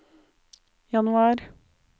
januar